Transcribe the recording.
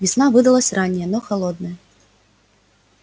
весна выдалась ранняя но холодная